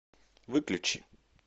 выключи